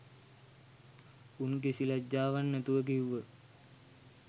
උන් කිසි ලැජ්ජාවක් නැතුව කිව්ව